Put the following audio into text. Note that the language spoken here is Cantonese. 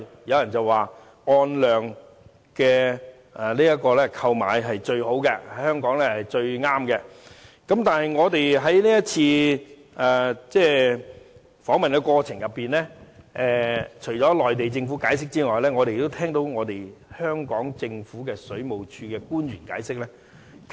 有人說按量購買對香港是最好的，但我們在這一次參觀的過程中，除了聆聽內地政府解釋外，我們也聆聽了香港政府水務署的官員解釋。